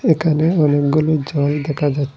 একানে অনেকগুলি জল দেখা যাচ--